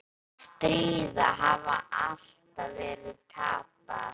Að stríðið hafi alltaf verið tapað.